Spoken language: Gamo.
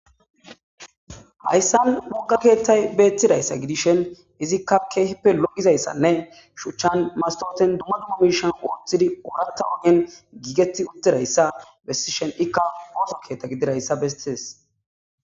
hayssan mokka keethtay beettidayssa gidishen izikka keehipe lo7izayssanne shuchchan masoten dumma dumma miishan ooththidi ooratta ogen giigetti uddidayssa bessishen ikka gooso keetta gididayssa bestees.